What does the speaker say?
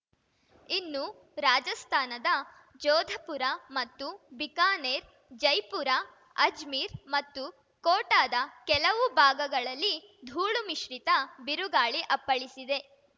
ಇನ್ನು ರಾಜಸ್ಥಾನದ ಜೋಧಪುರ ಮತ್ತು ಬಿಕಾನೇರ್ ಜೈಪುರ ಅಜ್ಮೀರ್ ಮತ್ತು ಕೋಟಾದ ಕೆಲವು ಭಾಗಗಳಲ್ಲಿ ಧೂಳು ಮಿಶ್ರಿತ ಬಿರುಗಾಳಿ ಅಪ್ಪಳಿಸಿದೆ